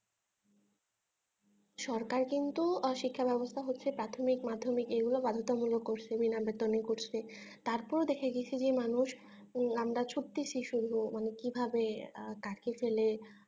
সরকার কিন্তু অশিক্ষা ব্যবস্থা হচ্ছে প্রাথমিক মাধ্যমিক এগুলো বাধ্যতামূলক করেছে বিনা বেতনে করেছে তারপরেও দেখা গেছে যে মানুষ আমরা ছুটছি শুধু মানে কিভাবে .